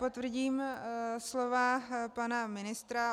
Potvrdím slova pana ministra.